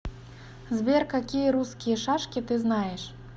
сбер какие русские шашки ты знаешь